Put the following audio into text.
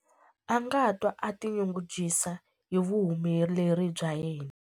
A nga twa a tinyungubyisa hi vuhumeleri bya yena.